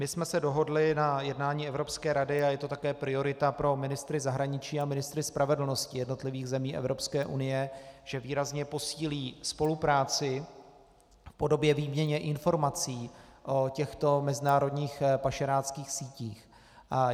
My jsme se dohodli na jednání Evropské rady, a je to také priorita pro ministry zahraničí a ministry spravedlnosti jednotlivých zemí Evropské unie, že výrazně posílí spolupráci v podobě výměny informací o těchto mezinárodních pašeráckých sítích.